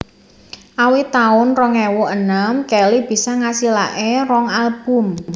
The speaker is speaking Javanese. Awit taun rong ewu enem Kelly bisa ngasilaké rong album